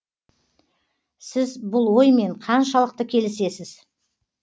сіз бұл оймен қаншалықты келісесіз